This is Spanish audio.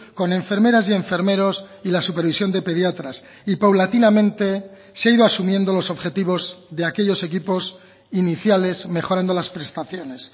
con enfermeras y enfermeros y la supervisión de pediatras y paulatinamente se ha ido asumiendo los objetivos de aquellos equipos iniciales mejorando las prestaciones